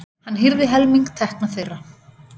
Hann hirði helming tekna þeirra.